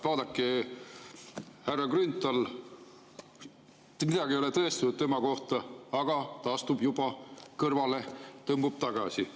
Vaadake härra Grünthalit – tema kohta ei ole mitte midagi tõestatud, aga ta astus juba kõrvale, tõmbus tagasi.